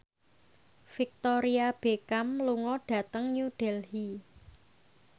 Victoria Beckham lunga dhateng New Delhi